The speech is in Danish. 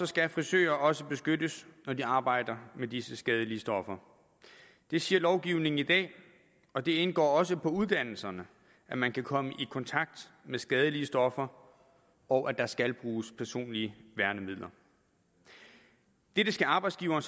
skal frisører også beskyttes når de arbejder med disse skadelige stoffer det siger lovgivningen i dag og det indgår også i uddannelsen at man kan komme i kontakt med skadelige stoffer og at der skal bruges personlige værnemidler det skal arbejdsgiveren